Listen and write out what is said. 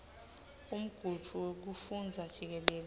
umgudvu wekufundza jikelele